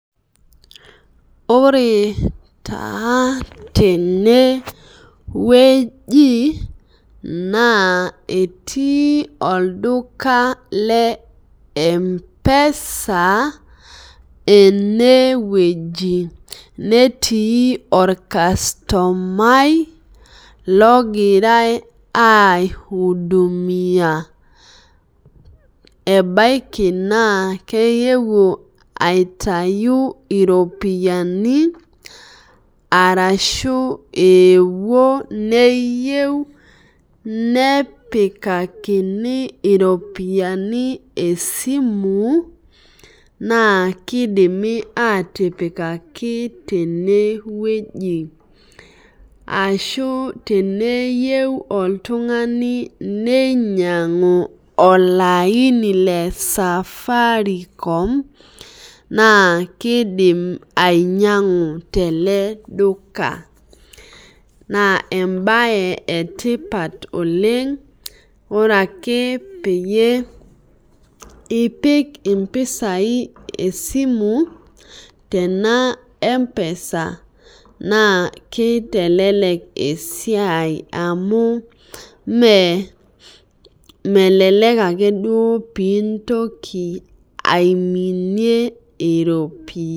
Ore taa tenewueji na etii olduka lempesa enewueji netii irkastomai ogirai aiudumiia ebaki na keewuo aitau iropiyiani ashu ewuo neyieu nepikakini ropiyani esimu na kidimi atipikaki tenewueji ashu teneyieuboltungani ninyangu olaini le Safaricom na kidim ainyangu teleduka na embae etipat oleng amu ore ake pipik mpisai esimu tenaempesa na kitelek esiai amu melelek ake duo pintoki